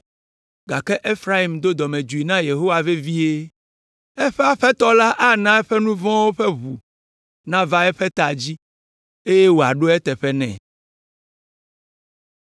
gake Efraim do dɔmedzoe na Yehowa vevie. Eƒe Aƒetɔ la ana eƒe nu vɔ̃wo ƒe ʋu nava eƒe ta dzi, eye wòaɖo eteƒe nɛ.